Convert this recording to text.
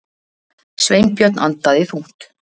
Sveinbjörn andaði þungt.